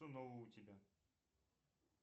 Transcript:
что нового у тебя